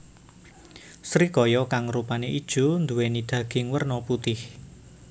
Srikaya kang rupane ijo nduwéni daging werna putih